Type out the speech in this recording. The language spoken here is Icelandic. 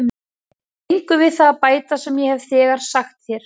Ég hef engu við það að bæta sem ég hef þegar sagt þér.